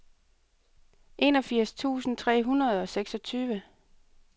enogfirs tusind tre hundrede og seksogtyve